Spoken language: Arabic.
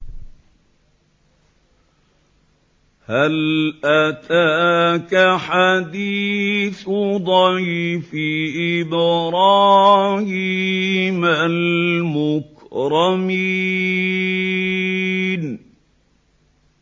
هَلْ أَتَاكَ حَدِيثُ ضَيْفِ إِبْرَاهِيمَ الْمُكْرَمِينَ